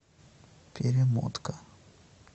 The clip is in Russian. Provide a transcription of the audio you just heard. перемотка